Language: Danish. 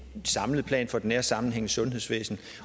samlet plan for den nære sammenhæng i sundhedsvæsenet